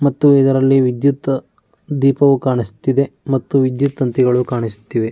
ಮತ್ತು ಇದರಲ್ಲಿ ವಿದ್ಯುತ್ ದೀಪವು ಕಾಣಿಸುತ್ತಿದೆ ಮತ್ತು ವಿದ್ಯುತ್ ತಂತಿಗಳು ಕಾಣಿಸುತ್ತಿದೆ.